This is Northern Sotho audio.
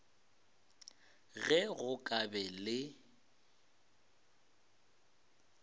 ge go ka ba le